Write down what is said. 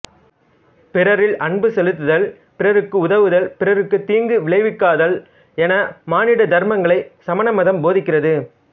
பிறரில் அன்பு செலுத்துதல் பிறருக்கு உதவுதல் பிறருக்கு தீங்கு விளைவிக்காதல் என மானிட தர்மங்களைச் சமண மதம் போதிக்கிறது